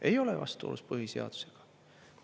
Ei ole vastuolus põhiseadusega.